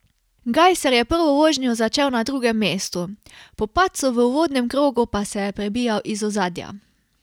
Gajser je prvo vožnjo začel na drugem mestu, po padcu v uvodnem krogu pa se je prebijal iz ozadja.